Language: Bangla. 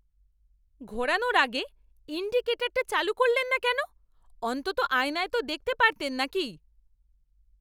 ঘোরানোর আগে ইনডিকেটরটা চালু করলেন না কেন? অন্তত আয়নায় তো দেখতে পারতেন নাকি!